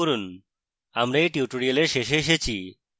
আমরা we tutorial শেষে এসেছি